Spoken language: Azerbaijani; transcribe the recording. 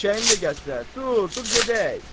Eşşəyini də gətirər, dur, dur gedək.